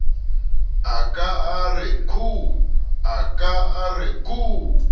a ka a re khuu